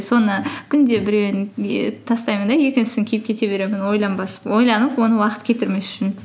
соны күнде біреуін тастаймын да екіншісін киіп кете беремін ойланып оны уақыт кетірмес үшін